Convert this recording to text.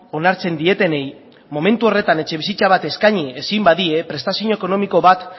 onartzen dietenei momentu horretan etxebizitza bat eskaini ezin badie prestazio ekonomiko bat